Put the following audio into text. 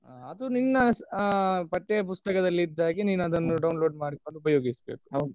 ಅದು ನಿನ್ನ ಅಹ್ ಪಠ್ಯ ಪುಸ್ತಕದಲ್ಲಿ ಇದ್ದಾಗೆ ನೀನು ಅದನ್ನು download ಮಾಡ್ಕೊಂಡು ಉಪಯೋಗಿಸಬೇಕು .